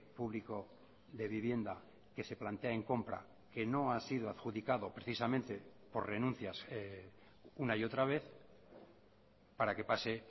público de vivienda que se plantea en compra que no ha sido adjudicado precisamente por renuncias una y otra vez para que pase